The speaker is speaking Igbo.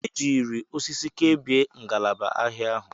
E jiiri osisi were kebie ngalaba ahịa ahụ.